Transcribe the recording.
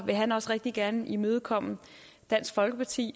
vil han også rigtig gerne imødekomme dansk folkeparti